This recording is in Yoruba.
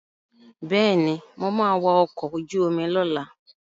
Bẹ́ẹ̀ni, mo ma wa ọkọ̀ ojú omi lọ́la